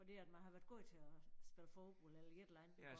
Fordi at man har været god til og spille forbold eller et eller andet